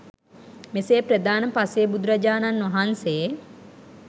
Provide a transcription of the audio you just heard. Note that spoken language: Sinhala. මෙසේ ප්‍රධාන පසේබුදුරජාණන් වහන්සේ